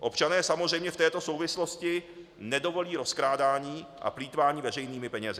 Občané samozřejmě v této souvislosti nedovolí rozkrádání a plýtvání veřejnými penězi.